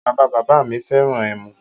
Bàbá bàbá mi fẹ́ràn ẹmu